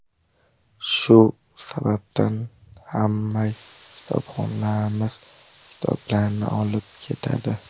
Shu sababdan ham kitobxonlarimiz kitoblarni olib ketadi.